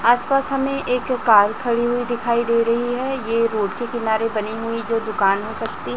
आस पास हमें एक कार खड़ी हुई दिखाई दे रही है ये रोड के किनारे बनी हुई जो दुकान हो सकती--